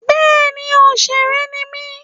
Bẹ́ẹ̀ni òsèré ni mí